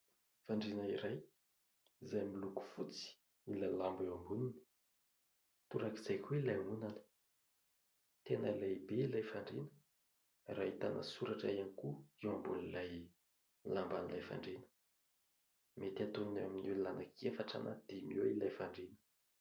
Fandriana iray izay miloko fotsy ilay lamba eo amboniny, torak'izay koa ilay ondana. Tena lehibe ilay fandriana raha ahitana soratra ihany koa eo ambonin'ilay lamban'ilay fandriana. Mety atonina eo amin'ny olona anaky efatra na dimy eo ilay fandriana.